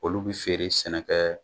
Olu bɛ feere sɛnɛkɛ